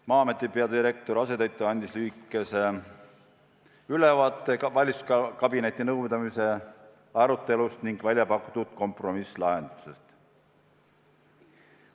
Maa-ameti peadirektori asetäitja andis lühikese ülevaate valitsuskabineti nõupidamise arutelust ning väljapakutud kompromisslahendustest.